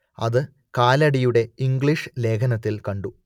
അത് കാലടിയുടെ ഇംഗ്ലീഷ് ലേഖനത്തിൽ കണ്ടു